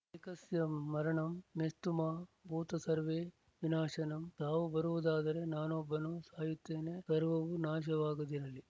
ಏಕಸ್ಯ ಮರಣಂ ಮೇಸ್ತು ಮಾ ಭೂತ ಸರ್ವೇ ವಿನಾಶನಂ ಸಾವು ಬರುವುದಾದರೆ ನಾನೊಬ್ಬನು ಸಾಯುತ್ತೇನೆ ಸರ್ವವೂ ನಾಶವಾಗದಿರಲಿ